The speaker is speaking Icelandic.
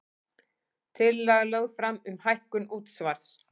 Tillaga lögð fram um hækkun útsvars